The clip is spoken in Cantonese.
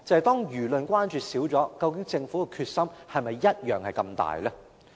當輿論關注減少，究竟政府的決心是否跟以前一樣大呢？